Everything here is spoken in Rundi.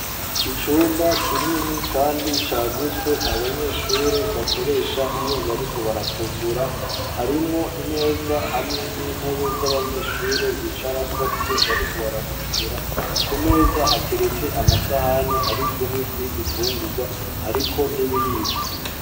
Icumba kinini kandi cagutse, abanyeshure bakoresha iyo bariko barafungura; harimwo imeza hamwe n'intebe z'abanyeshure, bicarako iyo bariko barafungura; ku meza hateretse amasahani ari kumwe n'ibifungurwa, hariko n'ibiyiko.